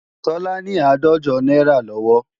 Tọ́lá ní àádọ́jọ náírà lọ́wọ́